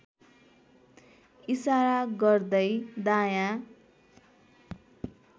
इसारा गर्दै दायाँ